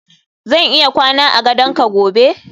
zan iya kwana a gadon ka gobe